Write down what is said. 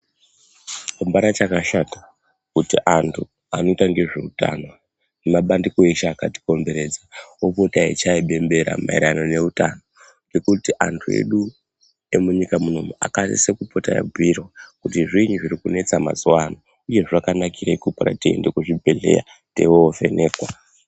Apana chakashata kuti antu anoita ngezveutano nemabandiko eshe akatikomberedza opota eyichaya bembera payererano neutano ngekuti antu edu emunyika munomu akasisa kupota eyibhuyirwa kuti zvinyi zvirikunetsa mazuwano uye zvakanakirei kupota teyienda kuzvibhehlera teindovhenekwa.